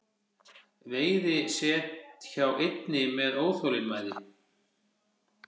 Veiði set hjá einni með óþolinmæði